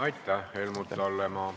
Aitäh, Helmut Hallemaa!